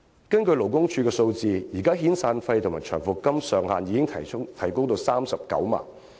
根據勞工處的數據，現時遣散費及長期服務金的上限已提高至39萬元。